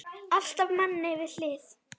Alltaf manni við hlið.